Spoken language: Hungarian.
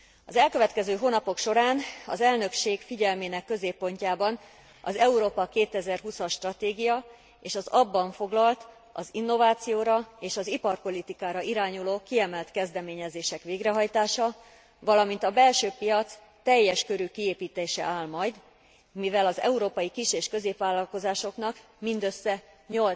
Az elkövetkező hónapok során az elnökség figyelmének középpontjában az Európa 2020 as stratégia és az abban foglalt, az innovációra és az iparpolitikára irányuló kiemelt kezdeményezések végrehajtása, valamint a belső piac teljes körű kiépítése áll majd, mivel az európai kis és középvállalkozásoknak mindössze 8